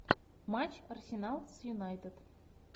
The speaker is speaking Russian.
матч арсенал с юнайтед